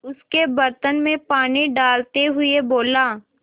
उसके बर्तन में पानी डालते हुए बोला